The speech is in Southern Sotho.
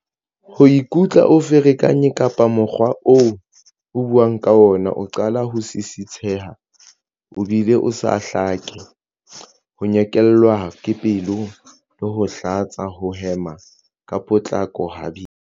Ho ikutlwa o ferekane kapa mokgwa oo o buang ka ona o qala ho sisitheha o bile o sa hlake. Ho nyekelwa ke pelo le ho hlatsa. Ho hema ka potlako, ha boima.